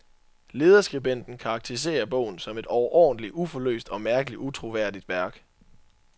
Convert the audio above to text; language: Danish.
Lederskribenten karakteriserer bogen som et overordentlig uforløst og mærkeligt utroværdigt værk.